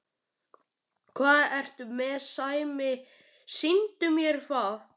Hvað ertu með Sæmi, sýndu mér það!